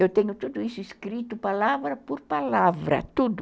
Eu tenho tudo isso escrito palavra por palavra, tudo.